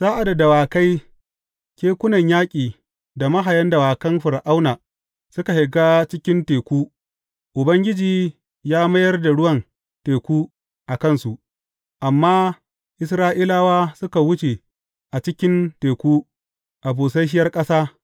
Sa’ad da dawakai, kekunan yaƙi da mahayan dawakan Fir’auna suka shiga cikin teku, Ubangiji ya mayar da ruwan teku a kansu, amma Isra’ilawa suka wuce a cikin teku a busasshiyar ƙasa.